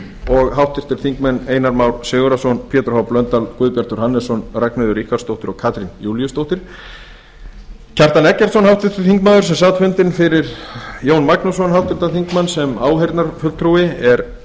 og háttvirtur þingmaður einar már sigurðarson pétur h blöndal guðbjartur hannesson ragnheiður ríkharðsdóttir og katrín júlíusdóttir háttvirtur þingmaður kjartan eggertsson sem sat fundinn fyrir háttvirtur þingmaður jón magnússon sem áheyrnarfulltrúi er